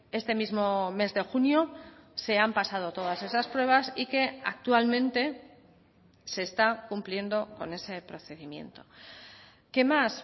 este mismo mes de junio se han pasado todas esas pruebas y que actualmente se está cumpliendo con ese procedimiento qué más